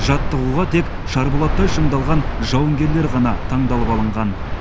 жаттығуға тек шарболаттай шыңдалған жауынгерлер ғана таңдалып алынған